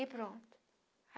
E pronto.